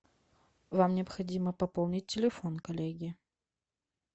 вам необходимо пополнить телефон коллеге